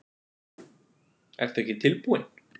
Ertu ekki tilbúinn?